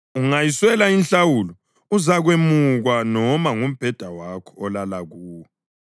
ungayiswela inhlawulo uzakwemukwa noma ngumbheda wakho olala kuwo.